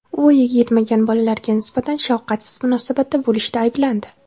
U voyaga yetmagan bolalarga nisbatan shafqatsiz munosabatda bo‘lishda ayblandi.